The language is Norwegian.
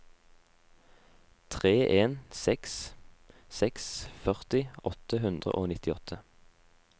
tre en seks seks førti åtte hundre og nittiåtte